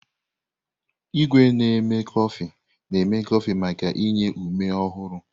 Igwé na-eme kọfị na-eme kọfị maka inye ume ọhụrụ.